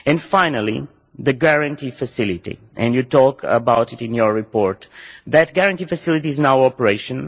Finally, the Guarantee Facility and you talk about it in your report that Guarantee Facility is now in operation.